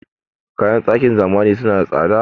Kayan ɗakin zamani suna da tsada.